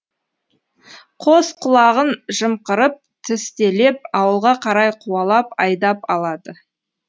қос құлағын жымқырып тістелеп ауылға қарай қуалап айдап алады